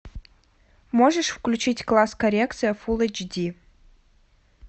можешь включить класс коррекции фулл эйч ди